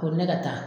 Ko ne ka taa